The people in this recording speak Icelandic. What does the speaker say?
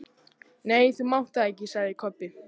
Nei, þú mátt það ekki, sagði Kobbi.